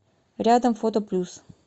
рядом фото плюс